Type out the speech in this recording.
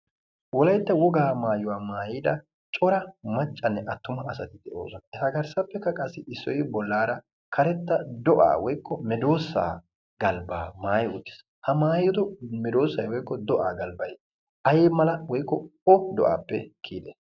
Wolaytta wogaa maayuwaa maayyida cora maccanne attuma asati de'ooosona. eta garssappekka issoy garssara karetta medoosa woykko do'a galbba maaayi uttiis. ha maayyido medoosay woykko do'a galbbay aymala woykko o do'appe kiyyide?